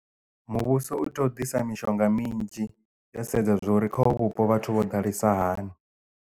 Muvhuso u tea u ḓisa mishonga minzhi yo sedza zwa uri kha uvhu vhupo vhathu vho ḓalesa hani.